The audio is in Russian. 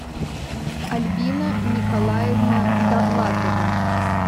альбина николаевна довлатова